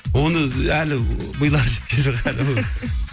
оны әлі милары жеткен жоқ әлі